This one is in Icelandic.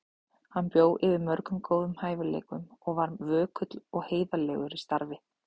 Hann bjó yfir mörgum góðum hæfileikum og var vökull og heiðarlegur í starfi.